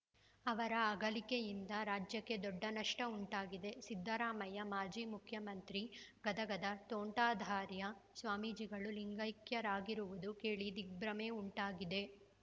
ಅವರ ಅಗಲಿಕೆಯಿಂದ ರಾಜ್ಯಕ್ಕೆ ದೊಡ್ಡ ನಷ್ಟಉಂಟಾಗಿದೆ ಸಿದ್ದರಾಮಯ್ಯ ಮಾಜಿ ಮುಖ್ಯಮಂತ್ರಿ ಗದಗದ ತೋಂಟದಾರ್ಯ ಸ್ವಾಮೀಜಿಗಳು ಲಿಂಗೈಕ್ಯರಾಗಿರುವುದು ಕೇಳಿ ದಿಗ್ಭ್ರಮೆ ಉಂಟಾಗಿದೆ